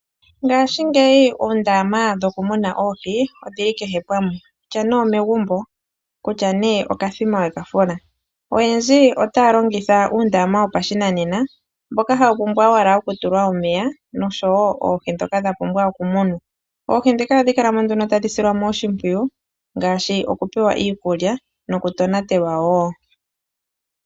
Ngashigeyi oondama dhoku muna oohi odhili kehe pamwe kutya ne omegumbo kutya ne okathima weka fula. Oyendji ota longitha uundama wopashinanena mboka hawu pumbwa owala oku tulwa omeya noshowo oohi dhoka dhapumbwa oku munwa. Oohi dhika ohadhi kala mo nduno tadhi silwa mo oshimpwiyu ngaashu okupewa iikulya noku tonatelwa wo.